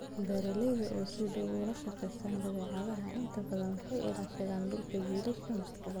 beeralayda oo si dhow ula shaqeeya dabeecadda inta badan waxay ilaashadaan dhulka jiilasha mustaqbalka.